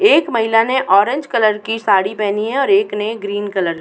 एक महिला ने ऑरेंज कलर की साड़ी पहनी है और एक ने ग्रीन कलर --